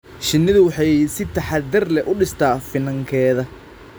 Shinnidu waxay si taxadar leh u dhistaa finankeeda.